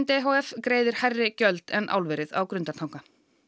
e h f greiðir hærri gjöld en álverið á Grundartanga